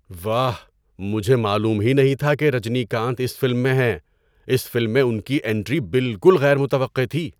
واہ! مجھے معلوم ہی نہیں تھا کہ رجنیکانت اس فلم میں ہیں۔ اس فلم میں ان کی انٹری بالکل غیر متوقع تھی۔